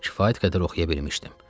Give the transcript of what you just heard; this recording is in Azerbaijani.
Kifayət qədər oxuya bilmişdim.